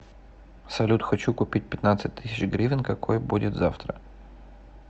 салют хочу купить пятнадцать тысяч гривен какой будет завтра